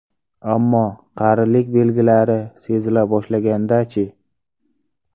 Ammo qarilik belgilari sezila boshlaganda-chi?